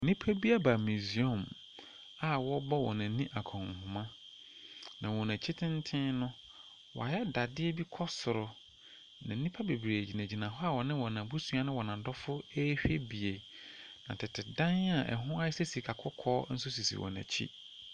Nnipa bi aba mesiɔm a wɔbɔ wɔn ho akɔnhoma. Na n'akyi tenten no, wayɛ dadeɛ bi kɔ soro. Na nnipa gyina hɔ ne wɔn abusua ne wɔn adɔfo ɛhwɛ bi. Tete dan a ɛho ayɛ sɛ sikaa kɔkɔɔ nso sisi wɔn akyi.